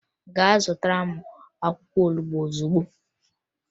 Gaa zụtara m akwụkwọ olubo ozugbo!